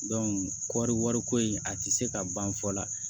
kɔɔri wariko in a tɛ se ka ban fɔ la